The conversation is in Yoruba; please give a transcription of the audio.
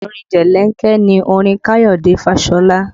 Orin jelenke ni orin Kayode Fashola